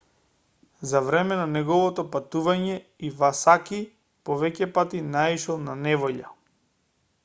за време на неговото патување ивасаки повеќепати наишол на неволја